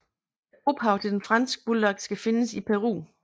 Ophavet til den franske bulldog skal findes i Peru